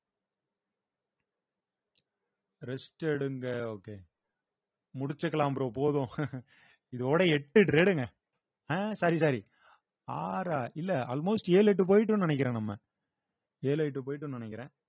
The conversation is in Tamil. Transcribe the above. rest எடுங்க okay முடிச்சுக்கலாம் bro போதும் இதோட எட்டு trade ங்க அஹ் sorry sorry ஆறா இல்ல almost ஏழு எட்டு போயிட்டோம்ன்னு நினைக்கிறோம் நம்ம ஏழு எட்டு போயிட்டோம்ன்னு நினைக்கிறேன்